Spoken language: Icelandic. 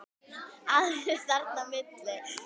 Aðrir eru þarna á milli.